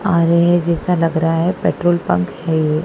और ये जैसा लग रहा है पेट्रोल पंप है ये।